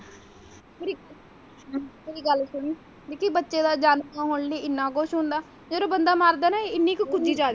ਮੇਰੀ ਮੇਰੀ ਗੱਲ ਸੁਣੀ ਨਿੱਕੀ ਬੱਚੇ ਦਾ ਜਨਮ ਹੋਣ ਲਈ ਇੰਨਾ ਕੁਛ ਹੁੰਦਾ ਹੈ ਫੇਰ ਬੰਦਾ ਮਰਦਾ ਹੈ ਨਾ ਇੰਨੇ ਜਹੇ ਕੁੱਜੇ ਦੇ ਵਿਚ ਆ ਜਾਂਦਾ ਹੈ।